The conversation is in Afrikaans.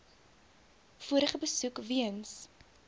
vorige besoek weens